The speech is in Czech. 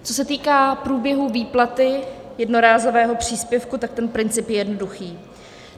Co se týká průběhu výplaty jednorázového příspěvku, tak ten princip je jednoduchý.